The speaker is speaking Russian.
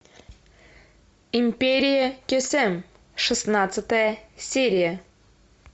империя кесем шестнадцатая серия